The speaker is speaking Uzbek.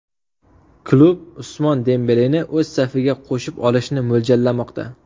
Klub Usmon Dembeleni o‘z safiga qo‘shib olishni mo‘ljallamoqda.